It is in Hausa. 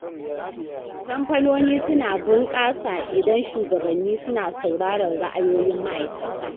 Kamfanoni suna bunƙasa idan shugabanni suna saurarar ra’ayoyin ma’aikata.